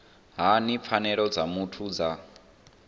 hani pfanelo dza muthu dza